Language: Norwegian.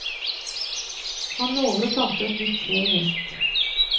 Han lover å plante et nytt tre i høst.